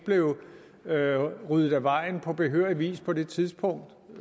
blev ryddet af vejen på behørig vis på det tidspunkt